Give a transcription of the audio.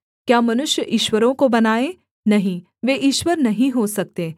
क्या मनुष्य ईश्वरों को बनाए नहीं वे ईश्वर नहीं हो सकते